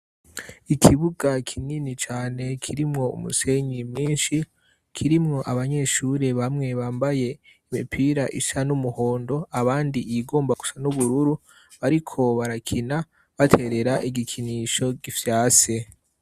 Ikibuga kinini cane kirimwo umusenyi myinshi kirimwo abanyeshuri bamwe bambaye imipira isa n'umuhondo abandi iyigomba gusa n'ubururu bariko barakina baterera igikinisho gifyase.